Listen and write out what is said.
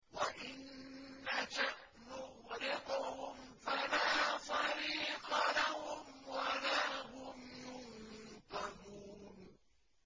وَإِن نَّشَأْ نُغْرِقْهُمْ فَلَا صَرِيخَ لَهُمْ وَلَا هُمْ يُنقَذُونَ